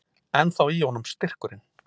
Ennþá í honum styrkurinn.